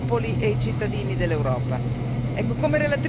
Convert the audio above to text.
con tutti i popoli e i cittadini dell'Europa.